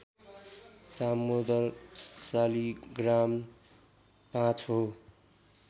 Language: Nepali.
दामोदर शालिग्राम ५ हो